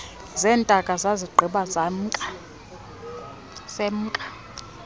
zeentaka sazigqiba semka